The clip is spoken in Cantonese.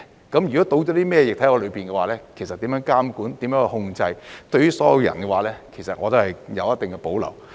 加入了甚麼液體，怎樣去監管、控制，對於所有人，其實我都有一定的保留。